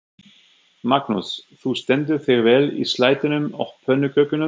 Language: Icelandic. Magnús: Þú stendur þig vel í slættinum og pönnukökunum?